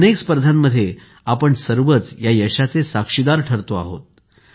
अनेक स्पर्धांमध्ये आपण सर्वच या यशाचे साक्षीदार ठरलो आहोत